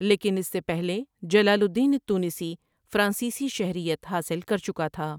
لیکن اس سے پہلے جلال الدین التونسی فرانسیسی شہریت حاصل کر چکا تھا ۔